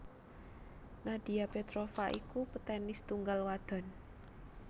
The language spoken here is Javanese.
Nadia Petrova iku petenis tunggal wadon